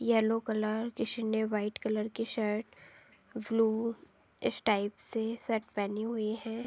Yellow colour जिसने white colour की shirt blue इस टाइप से सेट पहनी हुई है।